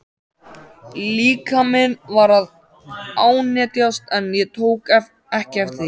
Líkaminn var að ánetjast en ég tók ekki eftir því.